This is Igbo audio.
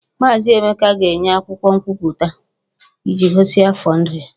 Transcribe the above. Maazị Emeka ga-enye akwụkwọ nkwupụta iji gosi afọ ndụ ya